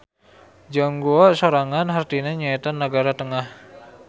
Zhongguo sorangan hartina nyaeta nagara tengah.